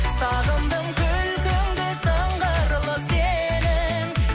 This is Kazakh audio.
сағындым күлкіңді сыңғырлы сенің